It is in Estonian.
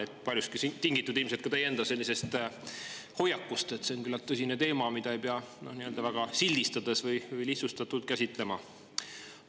See on paljuski tingitud ilmselt ka teie enda hoiakust, et see on küllalt tõsine teema, mida ei pea väga sildistades või lihtsustatult käsitlema.